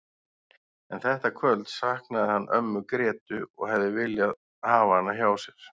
En þetta kvöld saknaði hann ömmu Grétu og hefði viljað hafa hana hjá sér.